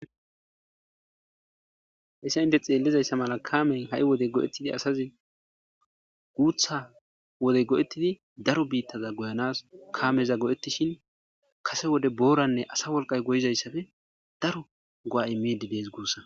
Hessa inte xeellizayssa mala kaamen ha7i wodey go'ettidi asazi guutha wodey go'ettidi daro biittaza goyanas kaameza go'ettishin kase wode booranne asa wolqay goyizayssafe daro go'ai midi dees guussa.